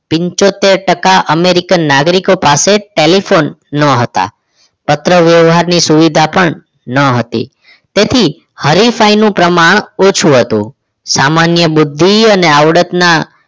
પંચોતેર ટકા અમેરિકન નાગરિકો પાસે ટેલીફોન ન હતા પત્ર વ્યવહારની સુવિધા પણ ન હતી તેથી હરિફાઈ નું પ્રમાણ ઓછું હતું સામાન્ય બુદ્ધિ અને આવડતના